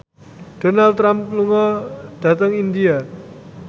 Donald Trump lunga dhateng India